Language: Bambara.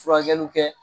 Furakɛliw kɛ